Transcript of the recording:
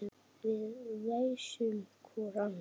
Við feisum hvor ann